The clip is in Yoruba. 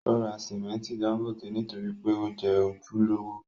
Ó ra simẹnti dángótè nítorí pé ó jẹ́ ojúlówó.